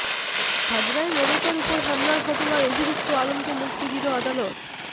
হাজরায় মমতার উপর হামলার ঘটনায় অভিযুক্ত আলমকে মুক্তি দিল আদালত